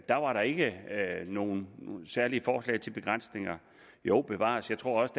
der var ikke nogen særlige forslag til begrænsninger jo bevares jeg tror også